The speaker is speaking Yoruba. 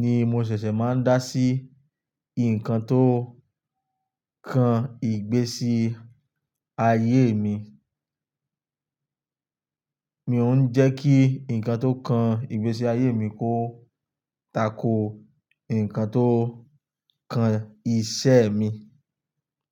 ni mo ṣẹ̀ṣẹ̀ máa ń dá sí nǹkan tó kan ìgbésí ayé mi. Mi ò ún jẹ́ kí nǹkan tó kan ìgbésí ayé mi kó tako nǹkan tó kan iṣẹ́ mi.